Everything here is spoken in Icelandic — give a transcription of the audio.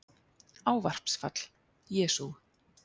Ávarpsfall: Jesú